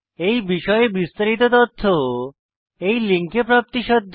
এই বিষয়ে বিস্তারিত তথ্য এই লিঙ্কে প্রাপ্তিসাধ্য